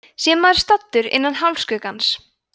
sé maður staddur innan hálfskuggans